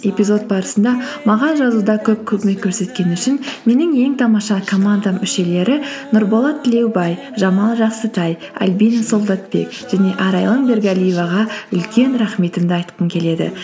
эпизод барысында маған жазуда көп көмек көрсеткен үшін менің ең тамаша командам мүшелері нұрболат тілеубай жамал жақсытай альбина солдатбек және арайлым бергалиеваға үлкен рахметімді айтқым келеді